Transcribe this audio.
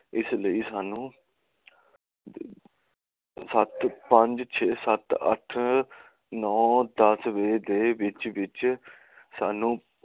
ਇਸ ਲਈ ਸਾਨੂ ਸਤ ਪੰਜ ਛੇ ਸੱਤ ਅੱਠ ਨਾਉ ਦਸਵੀ ਦੇ ਵਿਚ ਵਿਚ ਸਾਂਨੂੰ